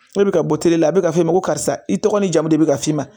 Ne bɛ ka bɔ teriya la a bɛ ka f'e ma ko karisa i tɔgɔ ni jamu de bɛ ka f'i ma